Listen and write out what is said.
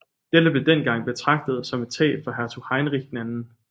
Dette blev dengang betragtet som et tab for hertug Heinrich II